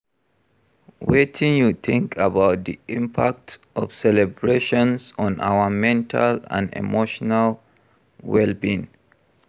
Wetin you think about di impact of celebrations on our mental and emotional well-being?